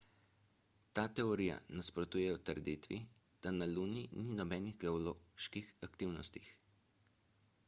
ta teorija nasprotuje trditvi da na luni ni nobenih geoloških aktivnosti